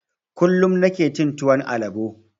Kullum nike cin tuwon albo